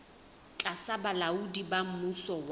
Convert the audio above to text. tlasa bolaodi ba mmuso wa